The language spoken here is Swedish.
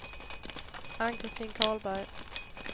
Ann-Christin Karlberg